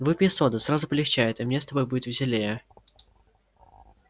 выпей соды сразу полегчает и мне с тобою будет веселее